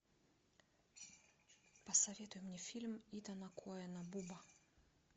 посоветуй мне фильм итана коэна буба